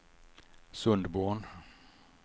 Sundborn